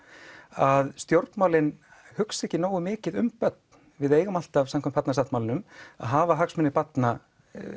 að stjórnmálin hugsi ekki nógu mikið um börn við eigum alltaf samkvæmt Barnasáttmálanum að hafa hagsmuni barna